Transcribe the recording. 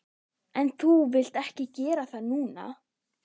En þú vilt ekki gera það núna.